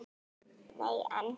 Nei, en.